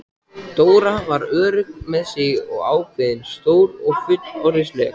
Dóra var örugg með sig og ákveðin, stór og fullorðinsleg.